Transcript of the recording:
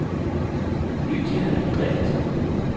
Lydia Andreassen